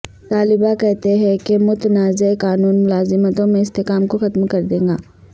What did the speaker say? طلباء کہتے ہیں کہ متنازع قانون ملازمتوں میں اسحتکام کو ختم کر دے گا